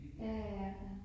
Ja, ja